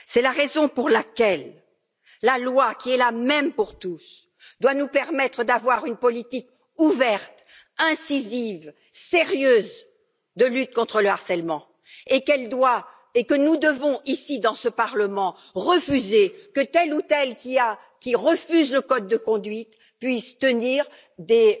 C'est la raison pour laquelle la loi, qui est la même pour tous, doit nous permettre d'avoir une politique ouverte, incisive, sérieuse de lutte contre le harcèlement, et qu'elle doit et que nous devons, ici dans ce parlement, refuser qu'une personne qui rejette le code de conduite puisse obtenir des